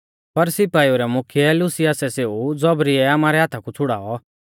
पर सिपाई रै मुख्यै लूसियासै सेऊ ज़ौबरीयै आमारै हाथा कु छ़ुड़ाऔ